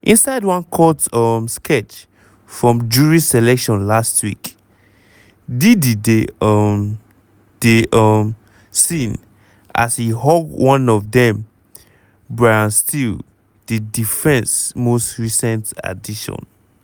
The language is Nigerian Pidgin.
inside one court um sketch from jury selection last week diddy dey um dey um seen as e hug one of dem brian steel di defence most recent addition